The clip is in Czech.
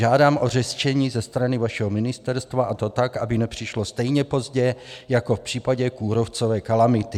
Žádám o řešení ze strany vašeho ministerstva, a to tak, aby nepřišlo stejně pozdě jako v případě kůrovcové kalamity.